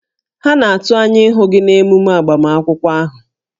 Ha na-atụ anya ịhụ gị na emume agbamakwụkwọ ahụ